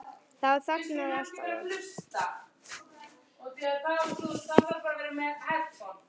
Þá þagnaði allt alveg.